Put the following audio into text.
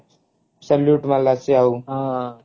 salute ମାରିଲା ସେ ଆଉ